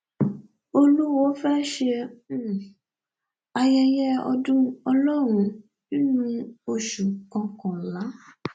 olùwọọ fẹẹ ṣe um ayẹyẹ ọdún ọlọrun nínú oṣù kọkànlá